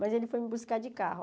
Mas ele foi me buscar de carro.